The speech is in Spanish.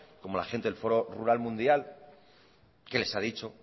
como la gente del foro rural mundial que les ha dicho